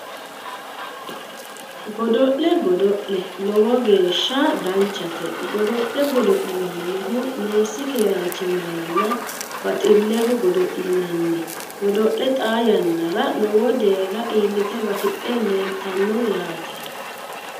Godo'le godo'le lowo geeshsha danchate godo'le godo'linannihu meessi keeraanchimmaranna baxilleho godo'linanni godo'le xaa yannara lowo deerra iillite batidhe leeltanno yaate